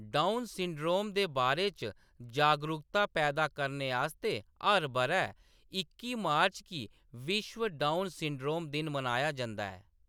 Down syndrome दे बारे च जागरूकता पैदा करने आस्तै हर ब'रै इक्की मार्च गी विश्व डाउन सिंड्रोम दिन मनाया जंदा ऐ।